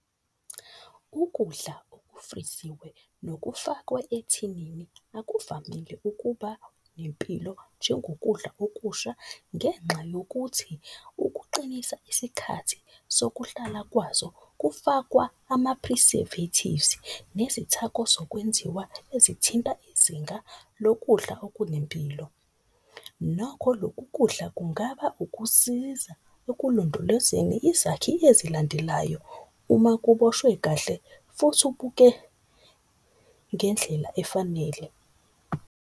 Ukudla okufriziwe nokufakwe ethinini akuvamile ukuba nempilo njengokudla okusha. Ngenxa yokuthi ukuqinisa isikhathi sokuhlala kwazo kufakwa ama-preservatives nezithako zokwenziwa ezithinta izinga lokudla okunempilo. Nakho lokhu kudla kungaba ukusiza ekulondolozeni izakhi ezilandelayo, uma kuboshwe kahle futhi ubuke ngendlela efanele.